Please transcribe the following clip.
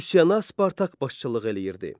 Üsyana Spartak başçılıq eləyirdi.